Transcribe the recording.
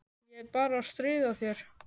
Ég er bara að stríða þér.